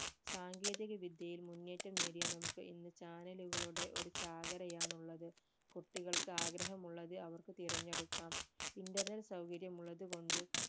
സാങ്കേതിക വിദ്യയിൽ, മുന്നേറ്റം നേടിയ നമുക്ക് ഇന്ന് channel കളുടെ ഒരു ചാകരയാണ് ഉള്ളത് കുട്ടികൾക്ക് ആഗ്രഹം ഉള്ളത് അവർക്ക് തിരഞ്ഞെടുക്കാം internet സൗകര്യം ഉള്ളത് കൊണ്ട്